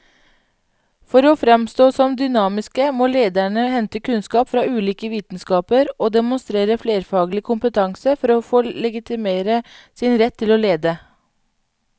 For å framstå som dynamiske må lederne hente kunnskap fra ulike vitenskaper og demonstrere flerfaglig kompetanse for å legitimere sin rett til å lede.